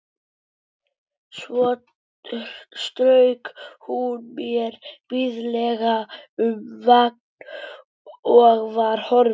Svo strauk hún mér blíðlega um vangann og var horfin.